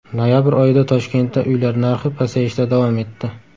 Noyabr oyida Toshkentda uylar narxi pasayishda davom etdi.